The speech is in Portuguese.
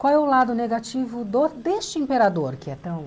Qual é o lado negativo do deste imperador que é tão?